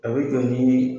A bɛ jɔ ni